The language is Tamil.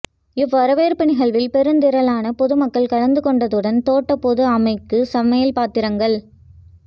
இவ் வரவேற்ப்பு நிகழ்வில் பெருந்திறலான பொது மக்கள் கலந்துக் கொண்டதுடன் தோட்ட பொது அமைக்கு சமையல் பாத்திரங்கள்